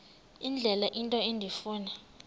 indlela into endifuna